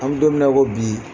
An mi don min na i ko bi